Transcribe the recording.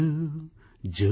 જો જો